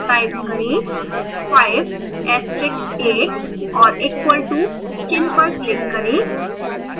type करें 5 asterix 8 और equal to चिन्ह पर click करें